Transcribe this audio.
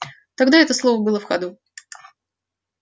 тогда это слово было в ходу